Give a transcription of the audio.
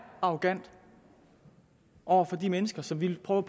arrogant over for de mennesker som vi prøver